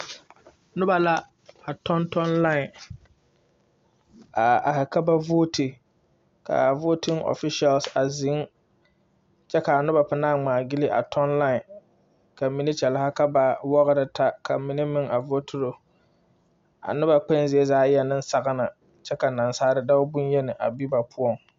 Noba la be a kyɛ,a noba waa dɔba naŋ be a kyɛ na, ba yɛrɛ kpare doɔre ba yɛrɛ kpare sɔglɔ, kpare ziiri meŋ bebe, lɔɛ meŋ be la a sori zu a are, kyɛ ka noba mine de ba nuuri a ti boɔre bɔtɔ kaŋa a are ne.